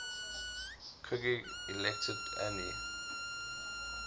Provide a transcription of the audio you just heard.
kugb elected andy